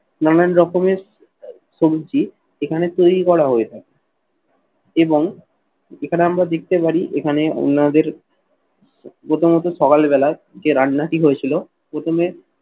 নানান রকমের সবজি এখানে তৈরি করা হয়ে থাকে এবং এখানে আমরা দেখতে পারি এখানে ওনাদের প্রথমত সকালবেলা যে রান্নাটি হয়েছিল, প্রথমে